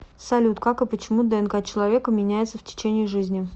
салют как и почему днк человека меняется в течение жизни